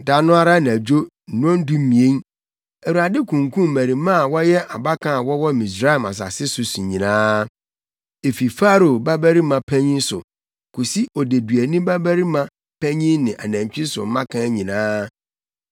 Da no ara anadwo nnɔndumien Awurade kunkum mmarimaa a wɔyɛ abakan a wɔwɔ Misraim asase so nyinaa, efi Farao babarima panyin so kosi odeduani babarima panyin ne anantwi nso mmakan nyinaa.